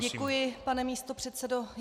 Děkuji, pane místopředsedo.